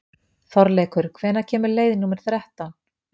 Þorleikur, hvenær kemur leið númer þrettán?